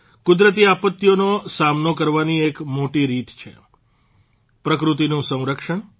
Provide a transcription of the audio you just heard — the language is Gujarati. કુદરતી આપત્તિઓનો સામનો કરવાની એક મોટી રીત છે પ્રકૃતિનું સંરક્ષણ